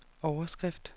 overskrift